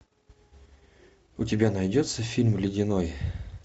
у тебя найдется фильм ледяной